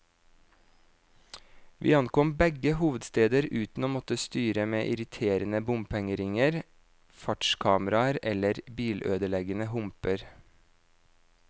Vi ankom begge hovedsteder uten å måtte styre med irriterende bompengeringer, fartskameraer eller bilødeleggende humper.